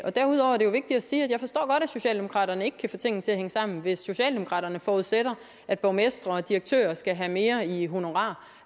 sige at socialdemokraterne ikke kan få tingene til at hænge sammen hvis socialdemokraterne forudsætter at borgmestre og direktører skal have mere i honorar